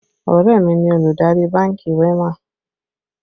Ọ̀rẹ́ mi ni olùdarí bánkì WEMA